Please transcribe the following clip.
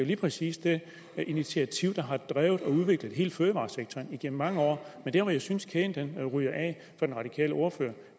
lige præcis det initiativ der har drevet og udviklet hele fødevaresektoren igennem mange år men der hvor jeg synes kæden ryger af for den radikale ordfører